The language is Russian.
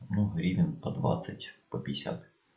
ну гривен по двадцать по пятьдесят